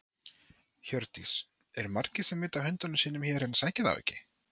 Hjördís: Eru margir sem vita af hundunum sínum hér en sækja þá ekki?